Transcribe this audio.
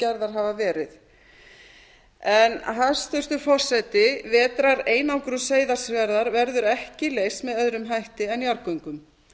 gerðar hafa verið hæstvirtur forseti vetrareinangrun seyðisfjarðar verður ekki leyst með öðrum hætti en jarðgöngum